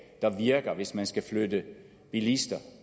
der virker hvis man skal flytte bilisterne